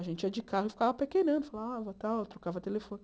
A gente ia de carro e ficava pequenando, falava tal, trocava telefone.